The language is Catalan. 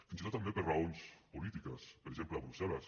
fins i tot també per raons polítiques per exemple a brussel·les